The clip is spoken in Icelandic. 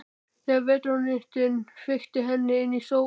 Þegar vetrarnóttin feykti henni inn sofnaði ég.